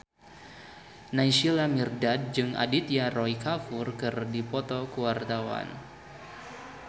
Naysila Mirdad jeung Aditya Roy Kapoor keur dipoto ku wartawan